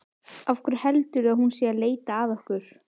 Af hverju heldurðu að hún sé að leita að okkur?